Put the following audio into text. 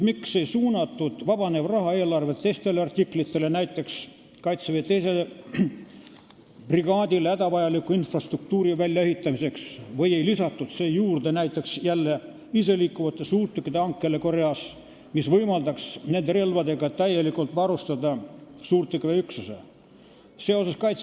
Miks ei suunatud vabanevat raha eelarve teistele artiklitele, näiteks Kaitseväe 2. brigaadile hädavajaliku infrastruktuuri väljaehitamiseks, või ei lisatud näiteks iseliikuvate suurtükkide hankele Koreast, mis võimaldaks nende relvadega täielikult varustada suurtükiväe üksuse?